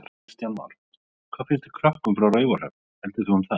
Kristján Már: Hvað finnst krökkum frá Raufarhöfn heldurðu um það?